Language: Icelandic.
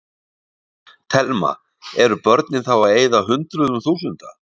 Telma: Eru börnin þá að eyða hundruðum þúsunda?